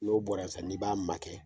N'o bɔra sisan n'i b'a makɛ